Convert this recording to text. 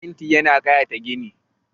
Fenti yana ƙayata gini